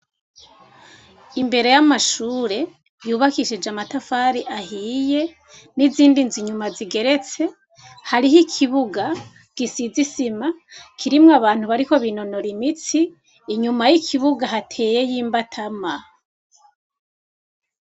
Imbere y'amashure yubakishije amatafari ahiye, n'izindi nzu inyuma ziteretse, hariho ikibuga gisize isima, kirimwo abantu bariko binonora imitsi. Inyuma y'ikibuga hateyeyo imbatama.